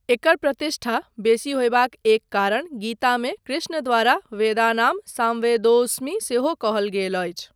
एकर प्रतिष्ठा बेसी होयबाक एक कारण गीतामे कृष्णद्वारा वेदानां सामवेदोऽस्मि सेहो कहल गेल अछि।